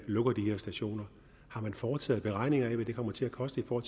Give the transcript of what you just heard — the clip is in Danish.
lukker de her stationer har man foretaget beregninger af hvad det kommer til at koste for